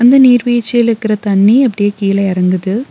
இந்த நீர்வீழ்ச்சியிலுக்கற தண்ணி அப்டியே கீழ எறங்குது.